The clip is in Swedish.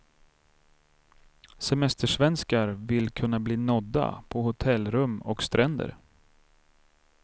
Semestersvenskar vill kunna bli nådda på hotellrum och stränder.